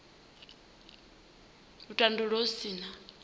u tandulula hu si na